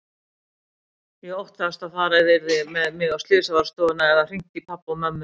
Ég óttaðist að farið yrði með mig á slysavarðstofuna eða hringt í pabba og mömmu.